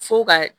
Fo ka